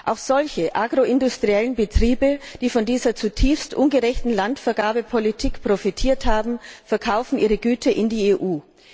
Auch agroindustrielle Betriebe, die von dieser zutiefst ungerechten Landvergabepolitik profitiert haben, verkaufen ihre Güter in die EU.